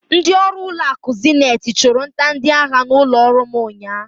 Ndịọrụ ụlọakụ Zeniti chụrụ nta ndịahịa n'ụlọọrụ m unyaahụ.